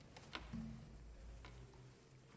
jo